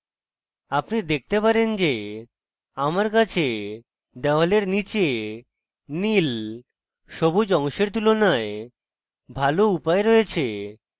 আপনি দেখতে পারেন যে আমার কাছে দেওয়ালের নীচে নীল সবুজ অংশের তুলনায় ভালো উপায় রয়েছে